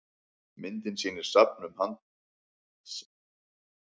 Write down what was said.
myndin sýnir safn um hansakaupmenn í björgvin í noregi